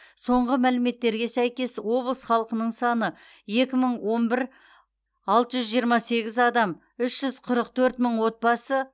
соңғы мәліметтерге сәйкес облыс халқының саны екі мың он бір алты жүз жиырма сегіз адам үш жүз қырық төрт мың отбасы